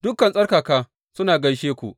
Dukan tsarkaka suna gaishe ku.